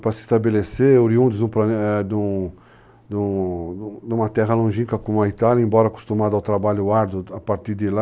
Para se estabelecer, oriundos numa terra longínqua como a Itália, embora acostumado ao trabalho árduo a partir de lá.